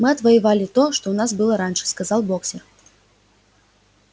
мы отвоевали то что у нас было раньше сказал боксёр